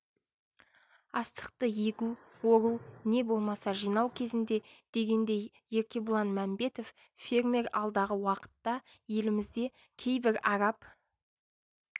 астықты егу ору не болмаса жинау кезінде дегендей еркебұлан мәмбетов фермер алдағы уақытта елімізде кейбір араб